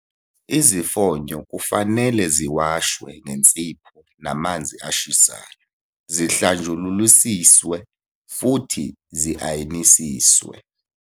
Izifonyo kufanele ziwashwe ngensipho namanzi ashisayo, zihlanjululisiswe futhi zi-ayinisiswe.